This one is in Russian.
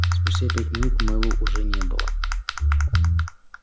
спустя пять минут мэллоу уже не было